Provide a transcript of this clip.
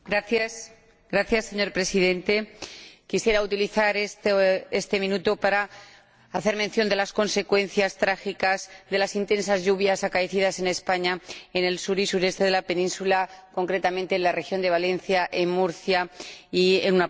Señor Presidente, quisiera utilizar este minuto para hacer mención de las consecuencias trágicas de las intensas lluvias caídas en España en el sur y el sureste de la península, concretamente en la región de Valencia, en Murcia y en una parte de Andalucía.